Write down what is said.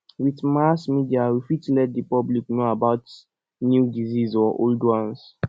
with mass media we fit let di public know about new disease or old ones